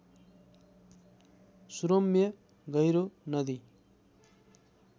सुरम्य गहिरो नदी